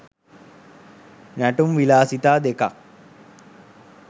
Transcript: නැටුම් විලාසිතා දෙකක්